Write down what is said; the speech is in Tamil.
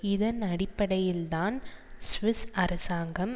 இதன் அடிப்படையில் தான் சுவிஸ் அரசாங்கம்